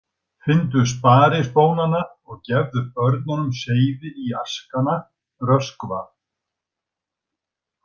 Finndu sparispónana og gefðu börnunum seyði í askana, Röskva.